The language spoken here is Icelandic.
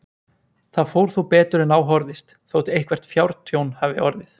Það fór þó betur en á horfðist, þótt eitthvert fjártjón hafi orðið.